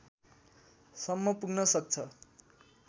सम्म पुग्न सक्छ